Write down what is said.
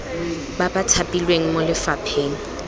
ba ba thapilweng mo lefapheng